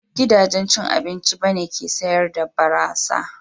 Ba duk gidajen cin abinci ba ne ke sayar da barasa.